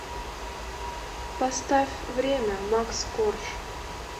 поставь время макс корж